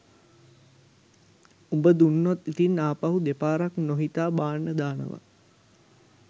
උඹ දුන්නොත් ඉතින් ආපහු දෙපාරක් නොහිතා බාන්න දානවා